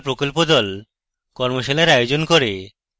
কর্মশালার আয়োজন করে